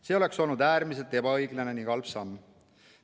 See oleks olnud äärmiselt ebaõiglane ning halb samm.